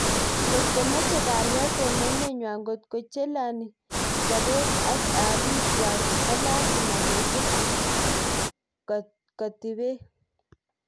Ngot komeche galyet eng emenwa, ngotko chalani sabeet ab biik kwak ko lasima kosuub katibeet